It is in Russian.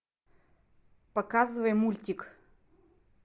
показывай мультик